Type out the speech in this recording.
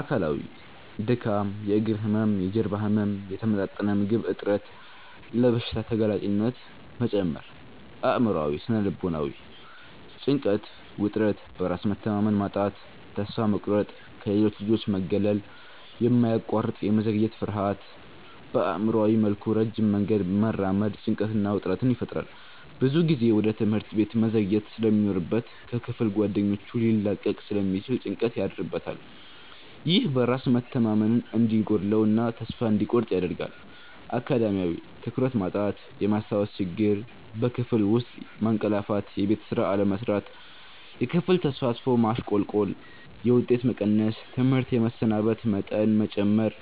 አካላዊ:-ድካም፣ የእግር ህመም፣ የጀርባ ህመም፣ የተመጣጠነ ምግብ እጥረት፣ ለበሽታ ተጋላጭነት መጨመር። አእምሯዊ / ስነ-ልቦናዊ:-ጭንቀት፣ ውጥረት፣ በራስ መተማመን ማጣት፣ ተስፋ መቁረጥ፣ ከሌሎች ልጆች መገለል፣ የማያቋርጥ የመዘግየት ፍርሃት። በአእምሯዊ መልኩ ረጅም መንገድ መራመድ ጭንቀትና ውጥረት ይፈጥራል። ብዙ ጊዜ ወደ ትምህርት ቤት መዘግየት ስለሚኖርበት ከክፍል ጓደኞቹ ሊላቀቅ ስለሚችል ጭንቀት ያድርበታል። ይህ በራስ መተማመን እንዲጎድለው እና ተስፋ እንዲቆርጥ ያደርጋል። አካዳሚያዊ:-ትኩረት ማጣት፣ የማስታወስ ችግር፣ በክፍል ውስጥ ማንቀላፋትየቤት ስራ አለመስራት፣ የክፍል ተሳትፎ ማሽቆልቆል፣ የውጤት መቀነስ፣ ትምህርት የመሰናበት መጠን መጨመር።